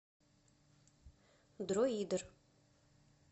дроидер